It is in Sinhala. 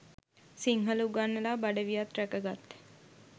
සිංහල උගන්නලා බඩ වියත් රැකගත්